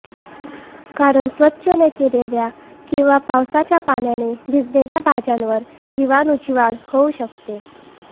कारण स्वच्छ न केलेल्या किंवा पावसाच्या पाण्याने भिजलेल्या भाज्यांवर जीवाणूंची वाढ होऊ शकते